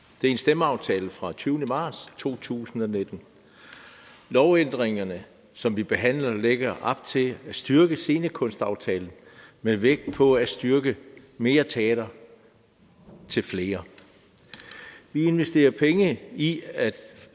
det er en stemmeaftale fra tyve marts to tusind og nitten lovændringerne som vi behandler lægger op til at styrke scenekunstaftalen med vægt på at styrke mere teater til flere vi investerer penge i at